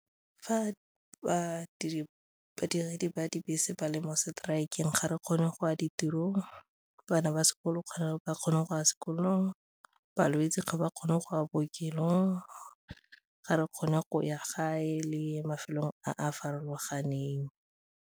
Fa badiredi ba dibese ba le mo strike-eng ga re kgone go ya ditirong, bana ba sekolo kgotsa ba kgone go ya sekolong, balwetse ga ba kgone go ya bookelong, ga re kgone go ya gae le mafelong a a farologaneng.